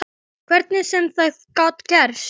Hvernig sem það gat gerst.